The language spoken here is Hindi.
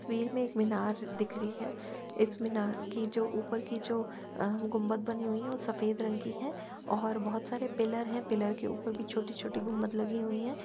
इस तस्वीर में एक मीनार दिख रही है। इस मीनार की जो ऊपर की जो अ गुंबद बनी हुई है वह सफेद रंग की है और बहोत सारे पिलर हैं। पिलर के ऊपर भी छोटी-छोटी गुंबद लगी हुई हैं।